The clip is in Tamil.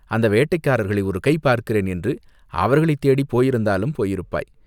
அந்த வேட்டைக்காரர்களை ஒருகை பார்க்கிறேன் என்று அவர்களைத் தேடிப் போயிருந்தாலும் போயிருப்பாய்!